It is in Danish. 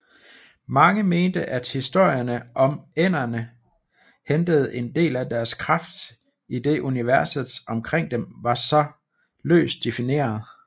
Mange mente at historierne om ænderne hentede en del af deres kraft idet universet omkring dem var så løst defineret